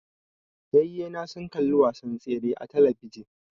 Yayye na sun kalli wasan tseren a talabijin